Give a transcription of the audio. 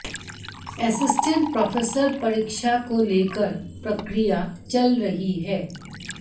assistant professor परीक्षा को लेकर प्रक्रिया चल रही है